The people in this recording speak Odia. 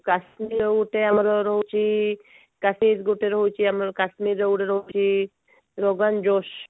କାଶ୍ମୀର ର ଆମର ଗୋଟେ ରହୁଛି that is ଗୋଟେ ରହୁଛି ଆମର କାଶ୍ମୀର ର ଗୋଟେ ରହୁଛି Mogen josh